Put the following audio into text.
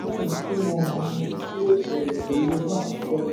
mọ ohun tí yóò ṣẹlẹ̀ pẹ̀lú owó àtijọ́.